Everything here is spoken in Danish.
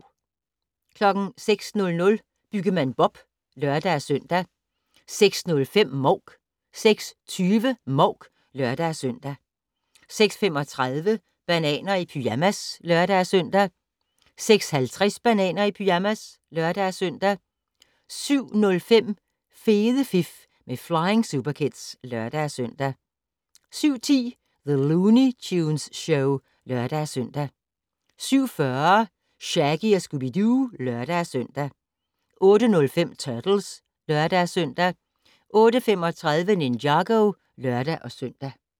06:00: Byggemand Bob (lør-søn) 06:05: Mouk 06:20: Mouk (lør-søn) 06:35: Bananer i pyjamas (lør-søn) 06:50: Bananer i pyjamas (lør-søn) 07:05: Fede fif med Flying Superkids (lør-søn) 07:10: The Looney Tunes Show (lør-søn) 07:40: Shaggy & Scooby-Doo (lør-søn) 08:05: Turtles (lør-søn) 08:35: Ninjago (lør-søn)